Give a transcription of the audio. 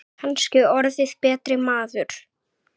Kannski orðið betri maður.